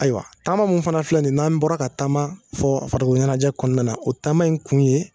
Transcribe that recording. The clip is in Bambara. Ayiwa taama min fana filɛ nin n'an bɔra ka taama fɔ fara ɲɛnajɛ kɔnɔna na o taama in kun ye